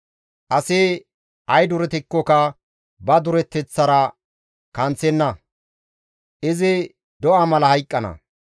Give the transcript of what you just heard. Asi ay duretikkoka ba dureteththaara kanththenna; izi do7a mala hayqqana.